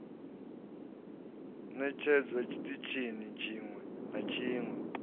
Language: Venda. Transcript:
ṋetshedzwa tshiṱitshini tshiṅwe na tshiṅwe